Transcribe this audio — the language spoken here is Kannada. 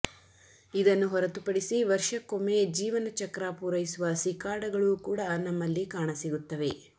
ಇದನ್ನು ಹೊರತುಪಡಿಸಿ ವರ್ಷಕ್ಕೊಮ್ಮೆ ಜೀವನಚಕ್ರ ಪೂರೈಸುವ ಸಿಕಾಡಗಳೂ ಕೂಡ ನಮ್ಮಲ್ಲಿ ಕಾಣ ಸಿಗುತ್ತವೆ